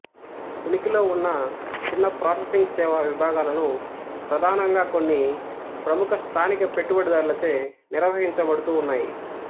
ఉనికిలో ఉన్న చిన్న ప్రాసెసింగ్ సేవ విభాగాలను ప్రధానంగా కొన్ని ప్రముఖ స్థానిక పెట్టుబడిదారులచే నిర్వహించబడుతూ ఉన్నాయి